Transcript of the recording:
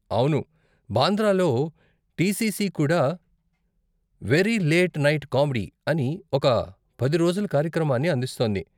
అవును, బాంద్రాలో టీసీసీ కూడా 'వెరీ లేట్ నైట్ కామెడీ' అని ఒక పది రోజుల కార్యక్రమాన్ని అందిస్తోంది.